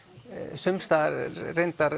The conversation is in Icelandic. sums staðar reyndar